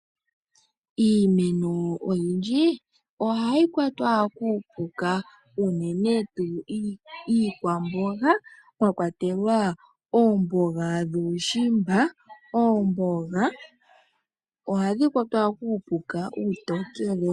Iimeno oyindji ohayi kwatwa kuupuka unene tuu iikwamboga mwa kwatelwa oomboga dhuushimba. Oomboga ohadhi kwatwa kuupuka uutokele.